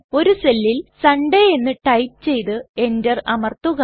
ഒരു സെല്ലിൽ സൺഡേ എന്ന് ടൈപ് ചെയ്ത് എൻറർ അമർത്തുക